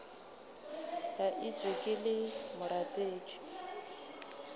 ka etšwe ke le morapedi